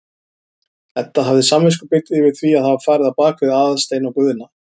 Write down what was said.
Edda hafði samviskubit yfir því að hafa farið á bak við Aðalstein og Guðna.